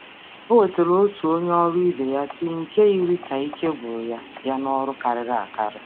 Ọ wetara tii nye onye ọrụ ibe ya nke dị ka ike gwụrụ ya site n’oke ọrụ.